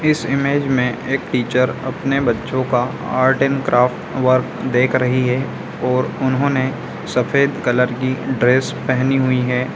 इस इमेज में एक टीचर अपने बच्चों का आर्ट एण्ड क्राफ्ट वर्क देख रही है ओर उन्होंने सफेद कलर की ड्रेस पहनी हुई है।